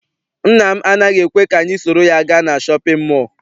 Nna m anaghị ekwe ka anyị soro ya gaa na shọpịn mọọ.